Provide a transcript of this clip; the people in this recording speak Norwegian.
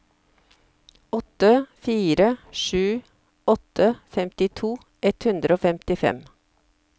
åtte fire sju åtte femtito ett hundre og femtifem